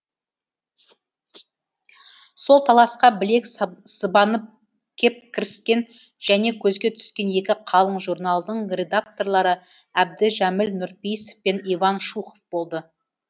сол таласқа білек сыбанып кеп кіріскен және көзге түскен екі қалың журналдың редакторлары әбдіжәміл нұрпейісов пен иван шухов болды